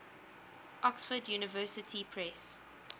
oxford university press